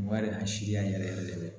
Maa de y'an si yan yɛrɛ yɛrɛ yɛrɛ de